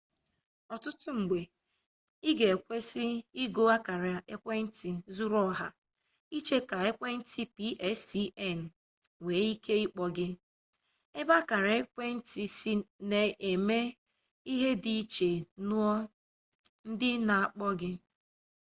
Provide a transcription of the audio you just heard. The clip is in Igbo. ọtụtụ mgbe ị ga ekwesị igo akara ekwentị zuru oha iche ka ekwentị pstn nwee ike ịkpọ gị ebe akara ekwentị sị na-eme ihe dị iche nue ndị na-akpọ gị